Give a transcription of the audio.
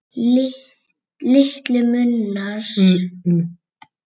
Litlu munar að ég kúgist.